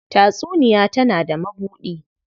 Tatsuniya tana da mabuɗi.